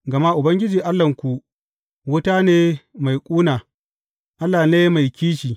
Gama Ubangiji Allahnku wuta ne mai ƙuna, Allah ne mai kishi.